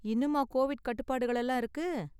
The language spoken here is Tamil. இன்னுமா கோவிட் கட்டுப்பாடுகள்லாம் இருக்கு?